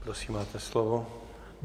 Prosím, máte slovo.